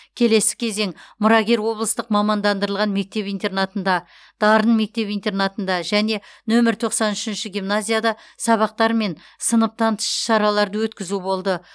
келесі кезең мұрагер облыстық мамандандырылған мектеп интернатында дарын мектеп интернатында және нөмір тоқсан үшінші гимназияда сабақтар мен сыныптан тыс іс шараларды өткізу болды